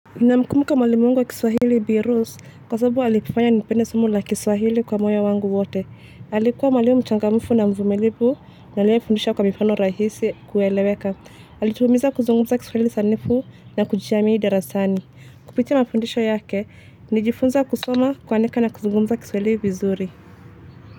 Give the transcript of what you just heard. Namkumbuka mwalimu wangu wa kiswahili bi Rose kwa sababu alifanya nipende somo la kiswahili kwa moyo wangu wote alikuwa mwalimu mchangamfu na mvumilivu na aliye fundisha kwa mifano rahisi kueleweka alitumiza kuzungumza kiswahili sanifu na kujiami darasani. Kupitia mafundisho yake nilijifunza kusoma kuandika na kuzungumza kiswahili vizuri.